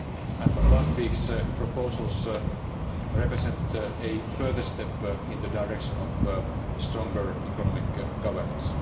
governance and last week's proposals represent a further step in the direction of stronger economic